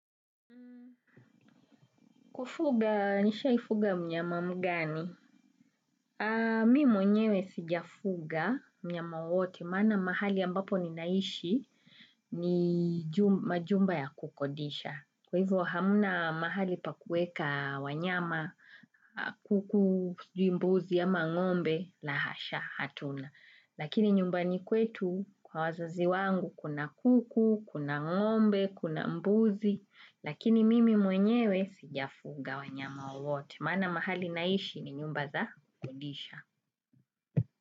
Kufuga, nishaifuga mnyama mgani? Mi mwenyewe sijafuga mnyama wowote, maana mahali ambapo ninaishi, ni majumba ya kukodisha. Kwa hivyo hamna mahali pa kuweka wanyama kuku, sijui mbuzi, ama ng'ombe, lahasha, hatuna. Lakini nyumbani kwetu, kwa wazazi wangu, kuna kuku, kuna ng'ombe, kuna mbuzi. Lakini mimi mwenyewe sijafuga wanyama wowote. Maana mahali naishi ni nyumba za kukodisha.